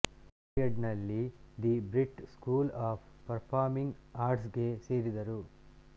ಕ್ರೊಯ್ಡಾನ್ನಲ್ಲಿ the Brit school of performing ಆರ್ಟ್ಸ್ಗೆ ಸೇರಿದರು